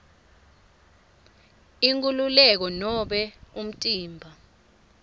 inkhululeko nobe umtimba